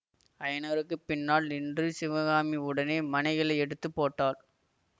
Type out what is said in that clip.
அயனருக்குப் பின்னால் நின்று சிவகாமி உடனே மணைகளை எடுத்து போட்டாள்